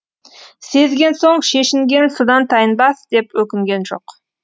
сезген соң шешінген судан тайынбас деп өкінген жоқ